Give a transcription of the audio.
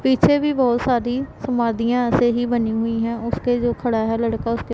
पीछे भी बहुत सारी समाधियाँ ऐसे ही बनी हुई है उसके जो खड़ा है लड़का उसके--